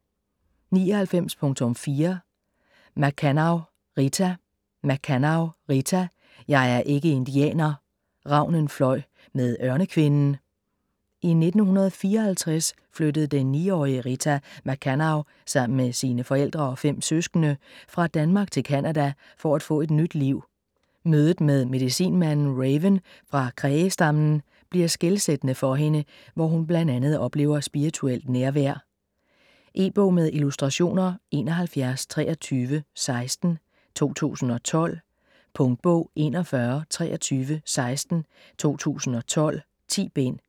99.4 Makkannaw, Rita Makkannaw, Rita: Jeg er ikke indianer: Ravnen fløj med Ørnekvinden I 1954 flyttede den 9-årige Rita Makkanaw sammen med sine forældre og 5 søskende fra Danmark til Canada for at få et nyt liv. Mødet med medicinmanden Raven fra Cree-stammen bliver skelsættende for hende, hvor hun bl.a. oplever spirituelt nærvær. E-bog med illustrationer 712316 2012. Punktbog 412316 2012. 10 bind.